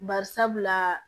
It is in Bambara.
Bari sabula